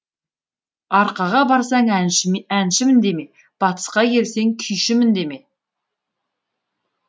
арқаға барсаң әншімін деме батысқа келсең күйшімін деме